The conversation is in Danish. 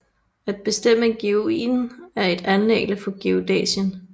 At bestemme geoiden er et anliggende for geodæsien